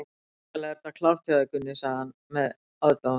Svakalega er þetta klárt hjá þér, Gunni, sagði hann með aðdáun.